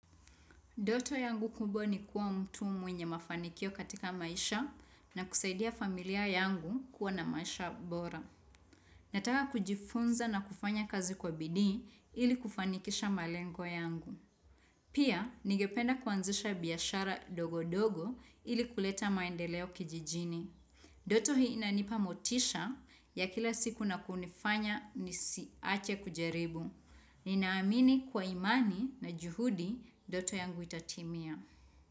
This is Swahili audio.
Ndoto yangu kubwa ni kuwa mtu mwenye mafanikio katika maisha na kusaidia familia yangu kuwa na maisha bora. Nataka kujifunza na kufanya kazi kwa bidii ili kufanikisha malengo yangu. Pia, nigependa kuanzisha biashara ndogondogo ili kuleta maendeleo kijijini. Ndoto hii inanipa motisha ya kila siku na kunifanya nisiache kujaribu. Ninaamini kwa imani na juhudi ndoto yangu itatimia.